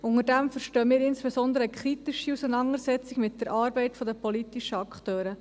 Darunter verstehen wir insbesondere eine kritische Auseinandersetzung mit der Arbeit der politischen Akteure.